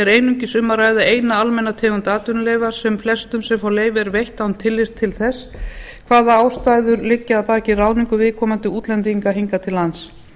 einungis um að ræða eina almenna tegund atvinnuleyfa sem flestum sem fá leyfi er veitt án tillits til þess hvaða ástæður liggja að baki ráðningu viðkomandi útlendinga hingað til lands